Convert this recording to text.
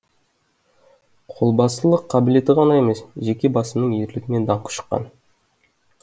қолбасылық қабілеті ғана емес жеке басының ерлігімен даңқы шыққан